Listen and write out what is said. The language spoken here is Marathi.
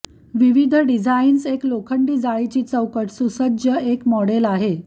विविध डिझाईन्स एक लोखंडी जाळीची चौकट सुसज्ज एक मॉडेल आहे